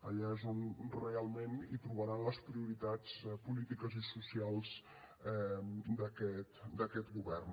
allà és on realment trobaran les prioritats polítiques i socials d’aquest govern